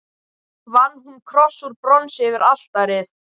Vann hún kross úr bronsi yfir altarið.